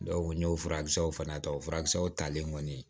n y'o furakisɛw fana ta o furakisɛw talen kɔni